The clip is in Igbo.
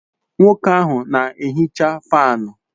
Nwoke ahu na ehicha fanu